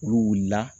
Olu wulila